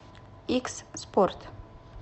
икс спорт